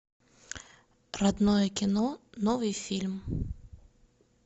родное кино новый фильм